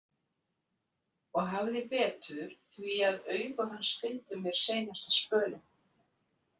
Og hafði betur því að augu hans fylgdu mér seinasta spölinn.